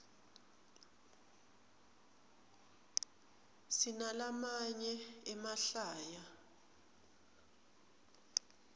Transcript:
sinalamaye emahlaya